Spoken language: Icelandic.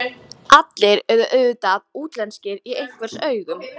Allir eru auðvitað útlenskir í einhvers augum.